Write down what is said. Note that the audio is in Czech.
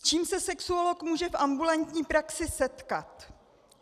S čím se sexuolog může v ambulantní praxi setkat?